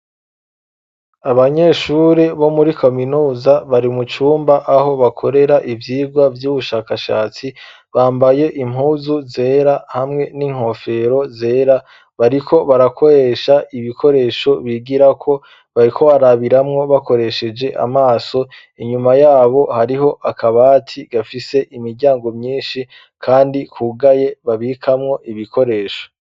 Abanyeshuri bo muri kaminuza bari mu cumba aho bakorera ivyigwa vy'ubushakashatsi bambaye impuzu zera hamwe n'inkofero zera, bariko barakoresha ibikoresho bigirako bariko barabiramwo bakoresheje amaso, inyuma yabo hariho akabati gafise imiryango myinshi kandi kugaye babikamwo ibikoresho.